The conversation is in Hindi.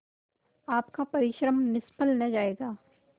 आपका परिश्रम निष्फल न जायगा